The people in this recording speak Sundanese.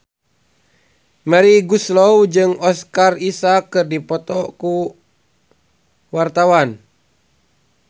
Melly Goeslaw jeung Oscar Isaac keur dipoto ku wartawan